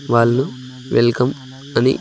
వాళ్ళు welcome అని--